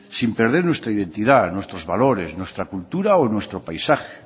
sin perder nuestra identidad nuestros valores nuestra cultura o nuestro paisaje